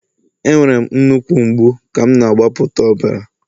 Enwere m nnukwu mgbu ka m na-agbapụta ọbara